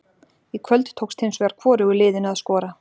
Í kvöld tókst hins vegar hvorugu liðinu að skora.